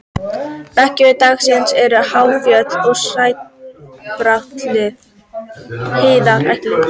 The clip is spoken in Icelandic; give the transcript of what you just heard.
beggja vegna dalsins eru há fjöll og sæbrattar hlíðar